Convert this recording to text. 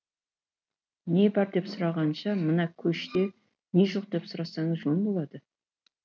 не бар деп сұрағанша мына көште не жоқ деп сұрасаңыз жөн болады